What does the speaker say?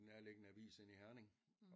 En nærliggende avis inde i Herning